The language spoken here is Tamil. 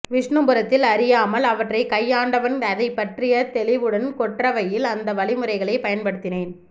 விஷ்ணுபுரத்தில் அறியாமல் அவற்றைக் கையாண்டவன் அதைப்பற்றிய தெளிவுடன் கொற்றவையில் அந்த வழிமுறைகளை பயன்படுத்தினேன்